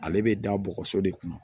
Ale bɛ da bɔgɔso de kunna